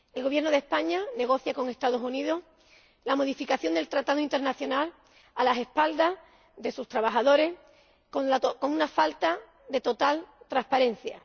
El Gobierno de España negocia con Estados Unidos la modificación del tratado internacional a espaldas de sus trabajadores con una falta total de transparencia.